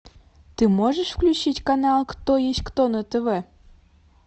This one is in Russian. ты можешь включить канал кто есть кто на тв